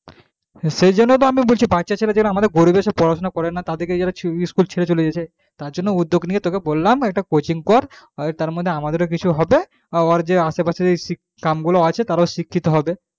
সেই জন্যেই আমি বলছি বাচ্চা ছেলেদের আমাদের গরিব যে পড়াশোনা করানো তাদের school ছেড়ে চলে যাচ্ছে তাই জন্যে তোকে উদ্দক নিয়ে বললাম একটা coaching কর তার মধ্যে আমাদের কিছু হবে আশেপাশে যে গ্রাম গুলো আছে তারা শিক্ষিত হবে